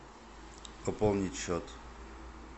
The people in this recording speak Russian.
пополнить счет